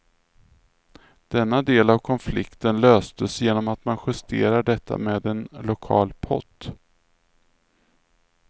Denna del av konflikten löstes genom att man justerar detta med en lokal pott.